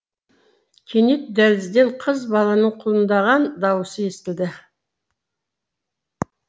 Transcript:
кенет дәлізден қыз баланың құлындаған дауысы естілді